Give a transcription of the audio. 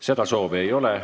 Seda soovi ei ole.